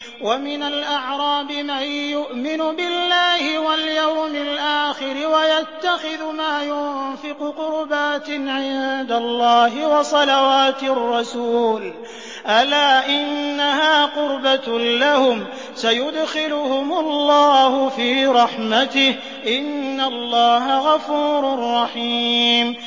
وَمِنَ الْأَعْرَابِ مَن يُؤْمِنُ بِاللَّهِ وَالْيَوْمِ الْآخِرِ وَيَتَّخِذُ مَا يُنفِقُ قُرُبَاتٍ عِندَ اللَّهِ وَصَلَوَاتِ الرَّسُولِ ۚ أَلَا إِنَّهَا قُرْبَةٌ لَّهُمْ ۚ سَيُدْخِلُهُمُ اللَّهُ فِي رَحْمَتِهِ ۗ إِنَّ اللَّهَ غَفُورٌ رَّحِيمٌ